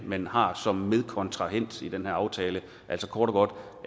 man har som medkontrahent i den her aftale altså kort og godt